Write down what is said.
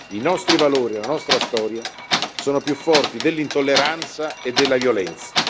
I nostri valori e la nostra storia sono più forti dell'intolleranza e della violenza.